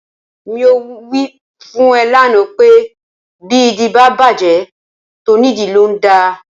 Mo wí fún ẹ lánàá pé bí ìdí bá bàjẹ́, tónìdìí ló ń dà.